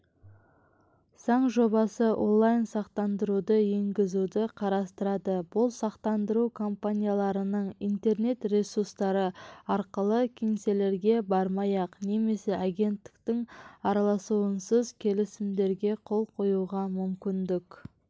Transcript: заң жобасы онлайн-сақтандыруды енгізуді қарастырады бұл сақтандыру компанияларының интернет-ресурстары арқылы кеңселерге бармай-ақ немесе агенттің араласуынсыз келісімдерге қол қоюға мүмкіндік